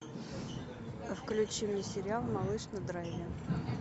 включи мне сериал малыш на драйве